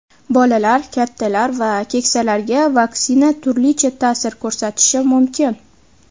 Bolalar, kattalar va keksalarga vaksina turlicha ta’sir ko‘rsatishi mumkin.